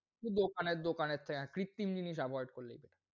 দোকানের দোকানেরটা এক কৃত্রিম জিনিস avoid করাটাই better ।